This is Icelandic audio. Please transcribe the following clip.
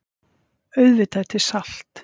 Auðvitað er til salt.